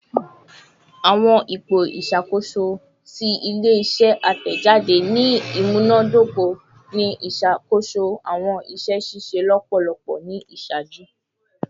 Awọn ipo iṣakoso ti ile-iṣẹ atẹjade ni imunadoko ni iṣakoso awọn iṣẹ ṣiṣe lọpọlọpọ ni iṣaaju